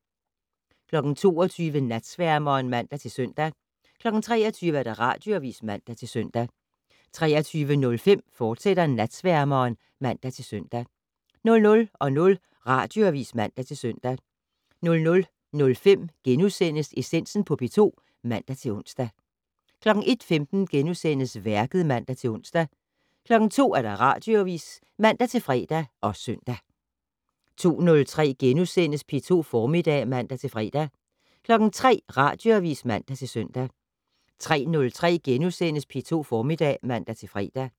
22:00: Natsværmeren (man-søn) 23:00: Radioavis (man-søn) 23:05: Natsværmeren, fortsat (man-søn) 00:00: Radioavis (man-søn) 00:05: Essensen på P2 *(man-ons) 01:15: Værket *(man-ons) 02:00: Radioavis (man-fre og søn) 02:03: P2 Formiddag *(man-fre) 03:00: Radioavis (man-søn) 03:03: P2 Formiddag *(man-fre)